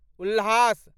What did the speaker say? उल्हास